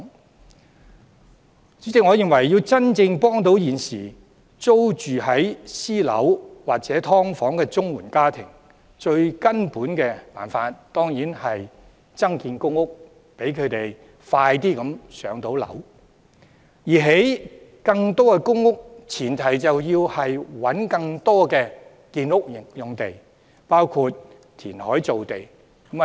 代理主席，我認為要真正協助現時租住私樓或"劏房"的綜援家庭，最根本的辦法當然是增建公屋，讓他們盡快"上樓"；而要興建更多公屋的前提是要尋覓更多的建屋用地，包括填海造地。